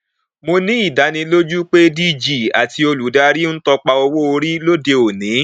mo ní ìdánilójú pé dg àti olùdarí ń tọpa owóorí lóde òní